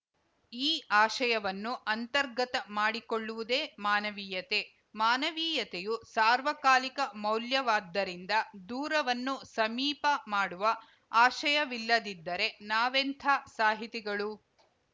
ಈ ಆಶಯವನ್ನು ಅಂತರ್ಗತ ಮಾಡಿಕೊಳ್ಳುವುದೇ ಮಾನವೀಯತೆ ಮಾನವೀಯತೆಯು ಸಾರ್ವಕಾಲಿಕ ಮೌಲ್ಯವಾದ್ದರಿಂದ ದೂರವನ್ನು ಸಮೀಪ ಮಾಡುವ ಆಶಯವಿಲ್ಲದಿದ್ದರೆ ನಾವೆಂಥ ಸಾಹಿತಿಗಳು